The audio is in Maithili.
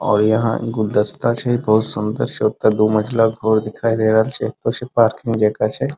और यहाँ गुलदस्ता छै बहुत सुन्दर से ओता दू मंजिला घर दिखाई दे रहल छै | एतो से पार्क में देखा छै |